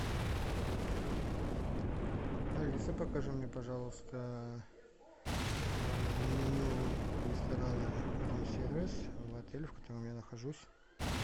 алиса покажи мне пожалуйста меню ресторана рум сервис в отеле в котором я нахожусь